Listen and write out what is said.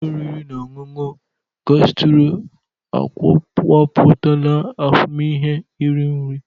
Ụlọ oriri na ọṅụṅụ gasturo akọwapụtala ahụmịhe iri nri.